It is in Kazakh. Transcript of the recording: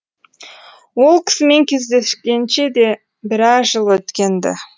ол кісімен кездескенше де біраз жыл өткен ді